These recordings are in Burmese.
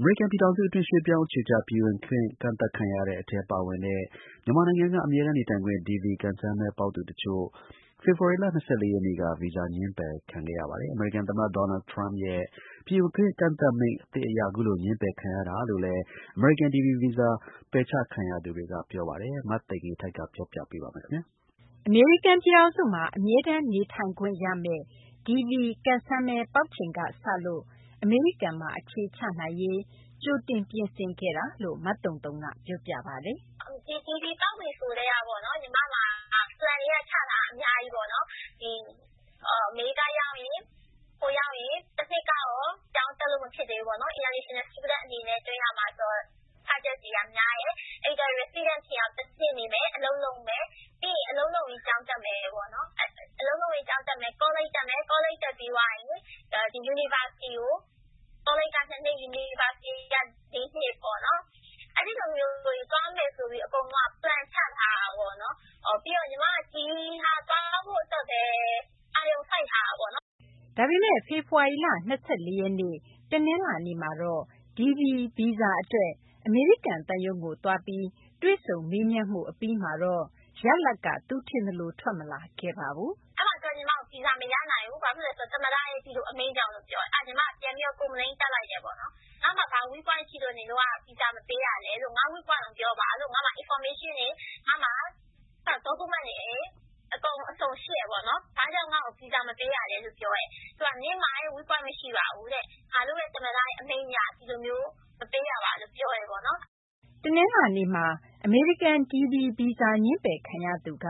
အမေရိကန် ပြည်ထောင်စု အတွင်း ရွှေ့ပြောင်းအခြေချ ပြည်ဝင်ခွင့် ကန့်သတ်ခံရတဲ့ အထဲ ပါဝင်တဲ့ မြန်မာနိုင်ငံက အမြဲတမ်းနေထိုင်ခွင့် DV ကံစမ်းမဲ ပေါက်သူ တချို့ ဖေဖော်ဝါရီလ ၂၄ ရက်နေ့က ဗီဇာ ငြင်းပယ်ခံခဲ့ရပါတယ်။ အမေရိကန် သမ္မတ Donald Trump ရဲ့ ပြည်ဝင်ခွင့် ကန့်သတ်မိန့် အသစ် အရ အခုလို ငြင်းပယ်ခံရတာလို့လည်း အမေရိကန် DV ဗီဇာ ပယ်ချခံရသူတွေက ပြောပါတယ်။ မသိင်္ဂ ီထိုက် ပြောပြမှာပါ။ အမေရိကန် ပြည်ထောင်စုမှာ အမြဲတမ်း နေထိုင်ခွင့်ရမယ့် DV ကံစမ်းမဲ ပေါက်ချိန်က စလို့ အမေရိကန်မှာ အခြေချနိုင်ရေး ကြိုတင်ပြင်ဆင်ခဲ့တာလို့ မသုံသုံက ပြောပြတာပါ။ “DV ပေါက်ပြီဆိုကတည်းက ညီမမှာ Plan တွေက ချထားတာ အများကြီးပေါ့နော်။ အမေရိကန် ရောက်ရင် တနှစ်ကတော့ ကျောင်းတက်လို့ မဖြစ်သေးဘူးပေါ့နော်။ International Student အနေနဲ့ ကျောင်းသွင်းရမှာဆိုတော့ များတယ်။ အဲဒီတော့ resident ဖြစ်အောင် တနှစ် နေမယ် အလုပ်လုပ်မယ်။ ပြီးရင် အလုပ်လုပ်ပြီး ကျောင်းတက်မယ်ပေါ့နော် ။ ကောလိပ်တက်မယ် ပြီးရင် University ကို ကောလိပ်က ၂ နှစ် University က ၄ နှစ်ပေါ့နော်။ အဲဒီလိုမျိုးသွားမယ်ဆိုပြီးတော့ အကုန်လုံးက Plan ချထားတာ ပြီးတော့ ညီမက ဒီဟာ သွားဖို့အတွက်ပဲ အာရုံစိုက်ထားတာပေါ့နော်။” ဒါပေမယ့် ဖေဖော်ဝါရီလ ၂၄ ရက်နေ့ တနလာၤနေ့မှာ DV ဗီဇာ အတွက် အမေရိကန် သံရုံးကို သွားပြီး တွေ့ဆုံမေးမြန်းမှု အပြီးမှာတော့ ရလဒ်က သူထင်သလို ထွက်မလာခဲ့ပါဘူး။ “အဲဒီမှာ သူက ညီမကို ဗီဇာမရနိုင်ဘူး ဘာဖြစ်လို့လဲဆိုတော့သမ္မတအမိန့်ကြောင့်လို့ပြောတယ်။ အဲဒါနဲ့ ညီမလည်း ပြန်ပြီးတော့ complain လုပ်လိုက်တယ်။ ငါ့မှာ ဘာ weak point ရှိလို့ Visa မပေးတာလဲပေါ့နော် ။ ငါ့ weak point ကိုပြောပါလို့ ။ ငါ့မှာ information တွေ Document တွေ အကုန်အစုံရှိတယ်ပေါ့နော် ဘာကြောင့် ငါ့ကို visa မပေးတာလဲ လို့ ပြောလိုက်တယ်။ သူတို့က နင့်မှာ weak point မရှိပါဘူး ငါတို့ သမ္မတ အမိန့်အရ ဒီလိုမျိုး မပေးတာပါလို့ ပြောတယ်။” တနလာၤနေ့က အမေရိကန် DV ဗီဇာ ငြင်းပယ်ခံရသူက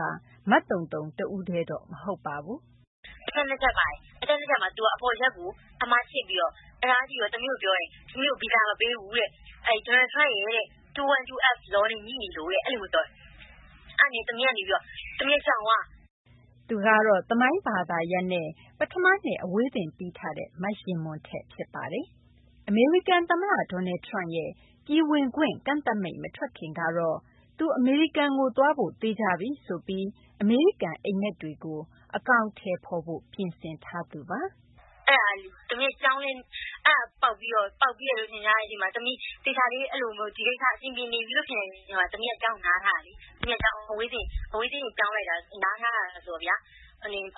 မသုံသုံ တဦးတည်းတော့ မဟုတ်ပါဘူး။ “အချက် ၂ ချက်ပါတယ် အဲဒီအချက် ၂ ချက်မှာ သူက အပေါ်အချက်ကို အမှားခြစ်ပြီး သမီးကို ပြောတယ် ဗီဇာမပေးဘူးတဲ့ Donald Trump ရဲ့ 212 law နဲ့ ငြိနေလို့တဲ့ အဲလိုမျိုးပြောတယ် ။ အဲဒါနဲ့ သမီးလည်း ကြောင်သွားတယ်။” သူကတော့ သမိုင်း ဘာသာနဲ့ ပထမနှစ် အဝေးသင်ပြီးထားတဲ့ မယဉ်မွန်ထက်ဖြစ်ပါတယ်။ အမေရိကန် သမ္မတ Donald Trump ရဲ့ ပြည်ဝင်ခွင့် ကန့်သတ်မိန့် မထွက်ခင်ကတော့ သူ အမေရိကန်ကို သွားဖို့ သေချာပြီ ဆိုပြီး အမေရိကန် အိပ်မက်တွေကို အကောင်အထည်ဖော်ဖို့ ပြင်ဆင်ထားသူပါ။ “သမီးလည်း DV ပေါက်ပြီးတဲ့အချိန်မှာ ဒီကိစ္စအဆင်ပြေနေပြီလို့ ထင်တဲ့အချိန်မှာကျောင်းလည်း နားထားတယ်။ အဝေးသင်ပြောင်းလိုက်တာ နားထားတာဆိုတော့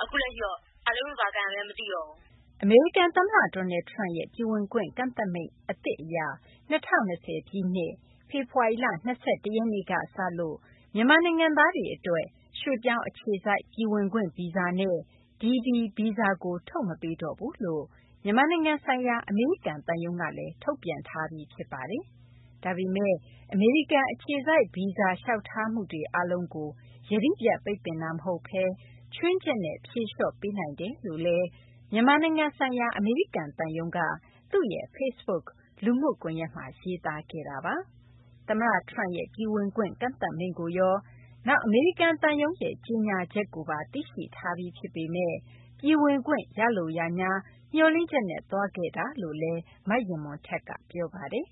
အခုလက်ရှိတော့ ဘာလုပ်လို့ ဘာကိုင်ရမှန်းမသိတော့ဘူး။” အမေရိကန် သမ္မတ Donald Trump ရဲ့ ပြည်ဝင်ခွင့် ဗီဇာ ကန့်သတ်မိန့် အသစ် အရ ၂၀၂၀ ပြည့်နှစ် ဖေဖော်ဝါရီလ ၂၁ ရက်ကနေ စလို့ မြန်မာနိုင်ငံသားတွေ အတွက် ရွှေ့ပြောင်း အခြေစိုက်ပြည်ဝင်ခွင့် ဗီဇာ နှင့် DV ဗီဇာကို ထုတ်မပေးတော့ဘူးလို့ မြန်မာနိုင်ငံဆိုင်ရာ အမေရိကန် သံရုံးကလည်း ထုတ်ပြန်ထားပြီး ဖြစ်ပါတယ်။ ဒါပေမယ့် အမေရိကန် အခြေစိုက် ဗီဇာ လျှောက်ထားမှုတွေ အားလုံးကို ယတိပြတ် ပိတ်ပင်တာ မဟုတ်ဘဲ ခြွင်းချက်နဲ့ ဖြေလျှော့ပေးနိုင်ပါတယ်လို့လည်း မြန်မာနိုင်ငံ ဆိုင်ရာ အမေရိကန် သံရုံးက သူ့ရဲ့ Facebook လူမှုကွန်ယက်မှာ ရေးသားခဲ့ပါတယ်။ သမ္မတ Trump ရဲ့ ပြည်ဝင်ခွင့် ကန့်သတ်မိန့်ကိုရော နောက် ရန်ကုန် အမေရိကန် သံရုံးရဲ့ ကြေညာချက်ကိုပါ သိရှိထားပြီး ဖြစ်ပေမယ့် ပြည်ဝင်ခွင့် ရလိုရငြား မျှော်လင့်ချက်နဲ့ သွားခဲ့တာလို့လည်း မယဉ်မွန်ထက်က ပြောပါတယ်။